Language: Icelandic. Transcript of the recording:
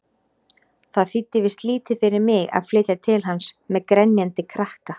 Það þýddi víst lítið fyrir mig að flytja til hans-með grenjandi krakka!